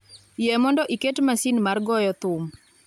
yie mondo iket masin mar goyo thum